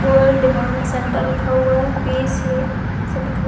All demand centre लिखा हुआ है। ऐसा लिखा --